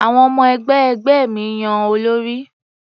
Àwọn ọmọ-ẹgbẹ́ ẹgbẹ́ mi yan olórí.